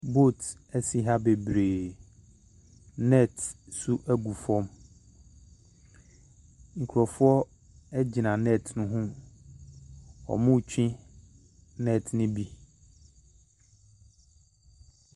Boat esi ha bebree. Net nso gu fam. Nkrɔfoɔ agyina net no ho. Wɔretwe net no bi.